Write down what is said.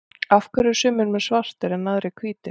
af hverju eru sumir menn svartir en aðrir hvítir